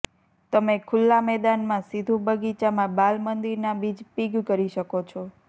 તમે ખુલ્લા મેદાનમાં સીધું બગીચામાં બાલમંદિરના બીજ પિગ કરી શકો છો